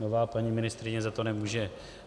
Nová paní ministryně za to nemůže.